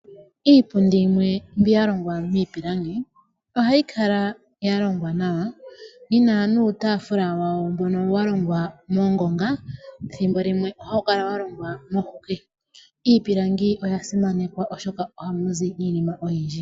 Iipundi yimwe mbi ya longwa miipilangi, ohayi kala ya longwa nawa, yi na nuutaafula wayo mbono wa longwa mongonga, thimbo limwe ohawu kala wa longwa moohuke. Iipilangi oya simanekwa, oshoka ohamu longwa iinima oyindji.